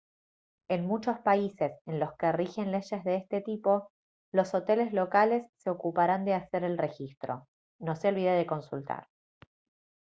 en muchos países en los que rigen leyes de este tipo los hoteles locales se ocuparán de hacer el registro no se olvide de consultar